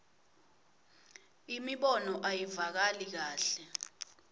imibono ayivakali kahle